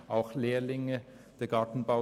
Es sind auch Lehrlinge da.